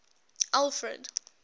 alfred